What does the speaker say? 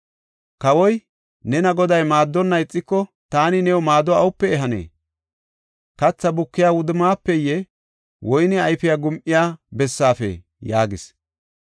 Kawoy, “Nena Goday maaddonna ixiko, taani new maado awupe ehanee? Katha bukiya wudummafeye, woyne ayfiya gum7iya bessaafee?” yaagis.